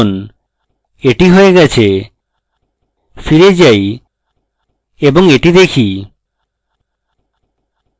এটি হয়ে গেছে ফিরে যাই এবং এটি দেখি